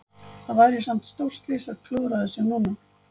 Það væri samt stórslys að klúðra þessu núna?